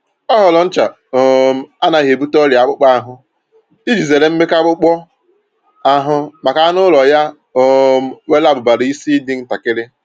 Ọ họọrọ ncha um anaghị ebute ọrịa akpụkpọ ahụ iji zere mmeka akpụkpọ ahụ maka anụ ụlọ ya um nwere abụbara isi dị ntakiri